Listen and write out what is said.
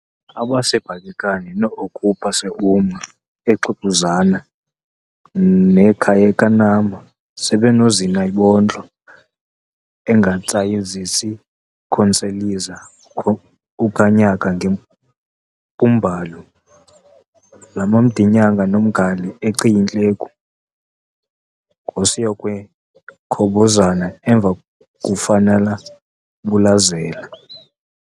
aRaseBhakhekani noOkhupha seUma eXikuzama nekhayekanhama seBenoZinayibontlo engatsayizits'kithonseliza ukhanyaka ngempumbalu lamaMdinyanga nomgale oCiyintleku ngosinyokwekhobozani emva kufanabulazela